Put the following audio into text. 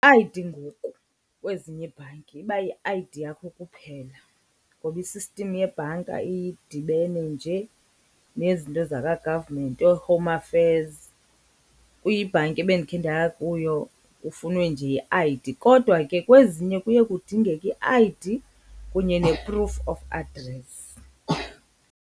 I_D ngoku, kwezinye iibhanki iba yi-I_D yakho kuphela ngoba i-system yebhanka idibene nje nezinto zaka-government ooHome Affairs. Kwibhanki ebendikhe ndaya kuyo kufunwe nje i-I_D kodwa ke kwezinye kuye kudingeke i-I_D kunye ne-proof of address.